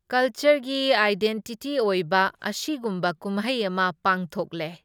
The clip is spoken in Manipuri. ꯀꯜꯆꯔꯒꯤ ꯑꯥꯏꯗꯦꯟꯇꯤꯇꯤ ꯑꯣꯏꯕ ꯑꯁꯤꯒꯨꯝꯕ ꯀꯨꯝꯍꯩ ꯑꯃ ꯄꯥꯡꯊꯣꯛꯂꯦ꯫